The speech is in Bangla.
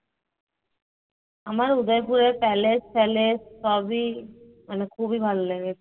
আমার উদয়পুরের palace ট্যালেস সবি মানে খুবই ভালো লেগেছে